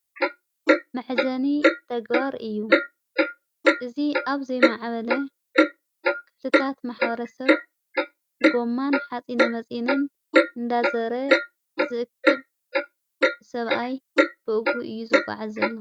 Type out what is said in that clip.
መሕዘኒ ተግባር እዩ እዝ ኣብ ዘይመዓበለ ክልታት መሓረ ሰብ ጎማን ሓጺነ መጺንን እንዳዘረ ዘእክብ ሰብኣይ ብእጉሁ እዩ ዘጐዓ ዘሎ::